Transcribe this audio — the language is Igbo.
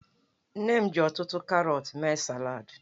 Nne m ji ọtụtụ karọtụ mee salad.